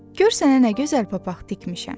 Gör sənə nə gözəl papaq tikmişəm.